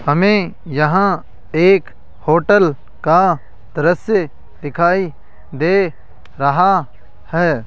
हमें यहां एक होटल का दृश्य दिखाई दे रहा है।